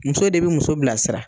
Muso de bi muso bilasira